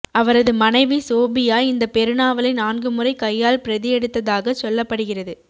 அவரது மனைவி சோஃபியா இந்தப் பெருநாவலை நான்குமுறை கையால் பிரதி எடுத்ததாகச் சொல்லப்படுகிறது